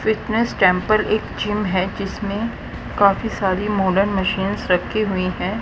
Fitness temple एक gym है जिसमें काफी सारी मॉडल मशीन्स रखी हुई हैं।